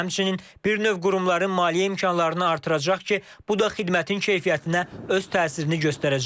Həmçinin, bir növ qurumların maliyyə imkanlarını artıracaq ki, bu da xidmətin keyfiyyətinə öz təsirini göstərəcək.